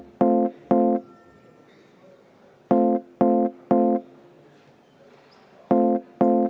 Aitäh!